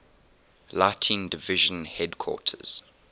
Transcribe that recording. lighting division headquarters